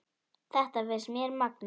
Þetta finnst mér magnað.